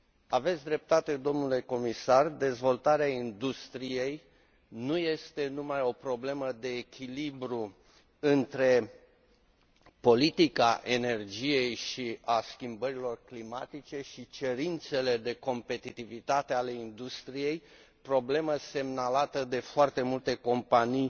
Aveți dreptate, domnule comisar, dezvoltarea industriei nu este numai o problemă de echilibru între politica energiei și a schimbărilor climatice și cerințele de competitivitate ale industriei, problemă semnalată de foarte multe companii